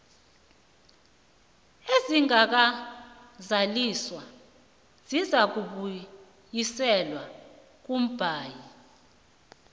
ezingakazaliswa zizakubuyiselwa kumbawi